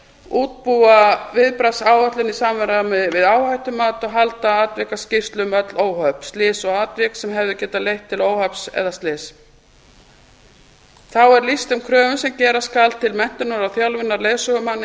útbúa viðbragðsáætlun í samræmi við áhættumat og halda atvikaskýrslu um öll óhöpp slys og atvik sem hefðu getað leitt til óhapps eða slyss þá er lýst þeim kröfum sem gera skal til menntunar og þjálfunar leiðsögumanna í